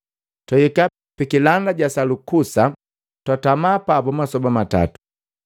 Twahika pikilanda ja Salukusa, twatama papu masoba matatu.